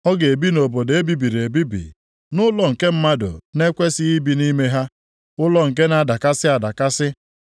ọ ga-ebi nʼobodo e bibiri ebibi, nʼụlọ nke mmadụ na-ekwesighị ibi nʼime ha, ụlọ nke na-adakasị adakasị.